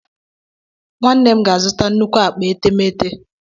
Nwanne m ga-azụta nnukwu akpa etemeete.